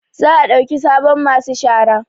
Za a ɗauki sabon masu shara